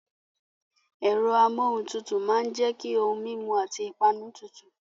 Ẹ̀rọ amuohuntutu máa ń jẹ́ kí ohun mímu àti ìpanu tutù.